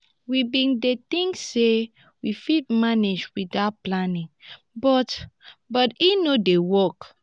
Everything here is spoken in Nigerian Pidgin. we bin dey tink sey we fit manage witout planning but but e no dey work.